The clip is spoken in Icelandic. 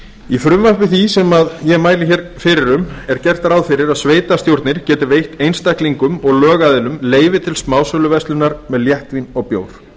í frumvarpi því sem ég mæli hér fyrir um er gert ráð fyrir að sveitarstjórnir geti veitt einstaklingum og lögaðilum leyfi til smásöluverslunar með léttvín og bjór